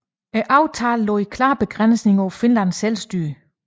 Aftalen lagde klare begrænsninger på Finlands selvstyre